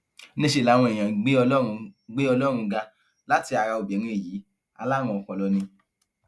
níṣẹ làwọn èèyàn ń gbé ọlọrun gbé ọlọrun ga láti ara obìnrin yìí alárùn ọpọlọ ni